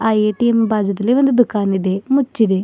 ATM ಬಾಜೂದಲ್ಲಿ ಒಂದು ದುಖಾನ್ ಇದೆ ಮುಚ್ಚಿದೆ.